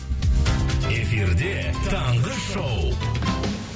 эфирде таңғы шоу